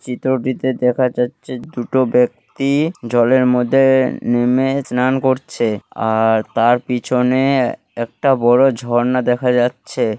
চিত্রটিতে দেখা যাচ্ছে দুটো ব্যক্তি জলের মধ্যে-এ নেমে স্নান করছে। আর তার পিছনে এ একটা বড়ো ঝর্ণা দেখা যাচ্ছে।